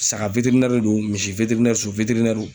Saga don , misi so